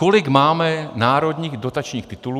Kolik máme národních dotačních titulů?